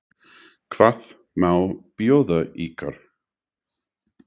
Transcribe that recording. Hvað má bjóða ykkur?